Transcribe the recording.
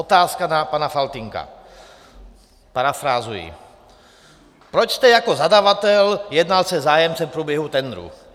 Otázka na pana Faltýnka, parafrázuji: "Proč jste jako zadavatel jednal se zájemcem v průběhu tendru?"